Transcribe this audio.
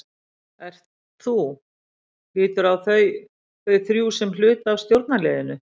Ert þú, líturðu á þá, þau þrjú sem hluta af stjórnarliðinu?